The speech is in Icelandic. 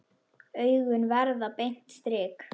Augun verða beint strik.